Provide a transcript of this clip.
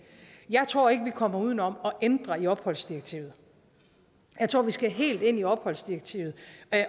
jeg tror ikke at vi kommer uden om at ændre i opholdsdirektivet jeg tror at vi skal helt ind i opholdsdirektivet